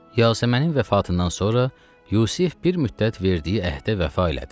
Yasəmənin vəfatından sonra Yusif bir müddət verdiyi əhdə vəfa elədi.